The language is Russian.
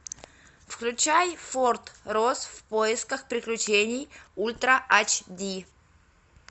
включай форт росс в поисках приключений ультра эйч ди